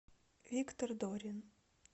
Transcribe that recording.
виктор дорин